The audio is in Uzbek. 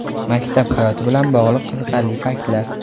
Maktab hayoti bilan bog‘liq qiziqarli faktlar.